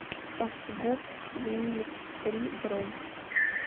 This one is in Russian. фгуп вниифтри бронь